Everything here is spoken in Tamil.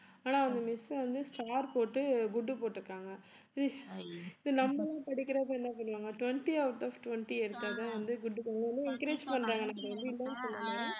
ஆனா அவங்க miss வந்து star போட்டு good போட்டிருக்காங்க இது நம்ம படிக்கிறப்ப என்ன பண்ணுவாங்க twenty out of twenty எடுத்தாதான் வந்து good போடுவாங்க encourage பண்றாங்க